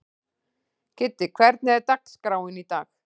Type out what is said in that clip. Kiddi, hvernig er dagskráin í dag?